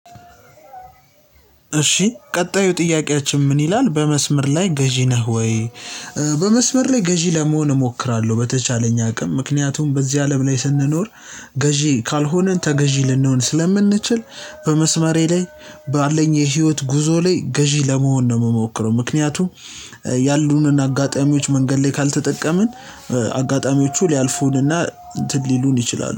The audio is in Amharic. እሺ ቀጣዩ ጥያቄያችን ምን ይላል በመስመር ላይ ገዢ ነህ ወይ? በመስመር ላይ ገዢ ለመሆን እሞክራለሁ በተቻለኝ አቅም ምክንያቱም በዚህ አለም ላይ ስንኖር ገዢ ካልሆንን ተገዢ ልንሆን ስለምንችል። በመስመሬ ላይ ባለኝ የህይወት ጉዞ ላይ ገዢ ለመሆን ነው የምሞክረው ምክንያቱም። ያሉንን አጋጣሚዎች መንገድ ላይ ካልተጠቀምን አጋጣሚዎቹ ሊያልፉንና እንትን ሊሉን ይችላሉ